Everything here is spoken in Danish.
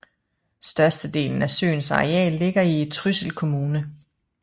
Størstedelen af søens areal ligger i Trysil kommune